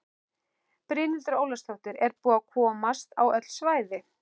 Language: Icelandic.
Brynhildur Ólafsdóttir: Er búið að komast á öll svæði?